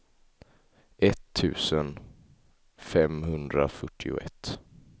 etttusen femhundrafyrtioett